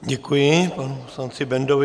Děkuji panu poslanci Bendovi.